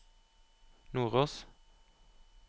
Nordås